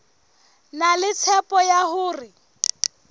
na le tshepo ya hore